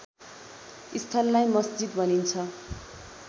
स्थललाई मस्जिद भनिन्छ